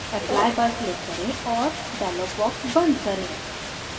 apply पर click करें और dialog box बंद करें